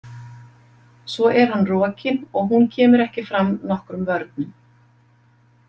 Svo er hann rokinn og hún kemur ekki fram nokkrum vörnum.